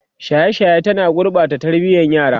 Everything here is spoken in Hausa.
shaye shaye ta na gurɓata tarbiyan yara